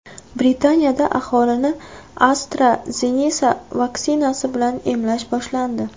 Britaniyada aholini AstraZeneca vaksinasi bilan emlash boshlandi.